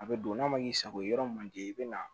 A bɛ don n'a ma k'i sago ye yɔrɔ man di i bɛ na